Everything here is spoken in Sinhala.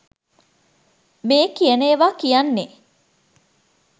මේ කියන ඒවා කියන්නේ.